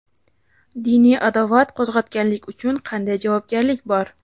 Diniy adovat qo‘zg‘atganlik uchun qanday javobgarlik bor?.